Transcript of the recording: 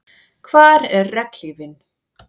Hvar er regnhlífin?